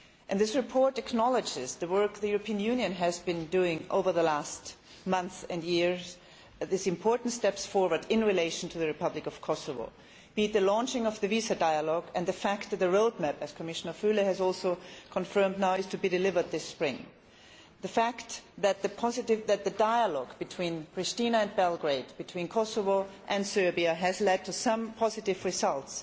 This report acknowledges the work the European Union has been doing over the last months and years, and these important steps forward regarding the Republic of Kosovo be it the launching of the visa dialogue and the fact that the roadmap, as Commissioner Füle has now confirmed, is to be delivered this spring, or the fact that the dialogue between Priština and Belgrade, between Kosovo and Serbia have led to some positive results.